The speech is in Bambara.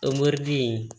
O mɛri den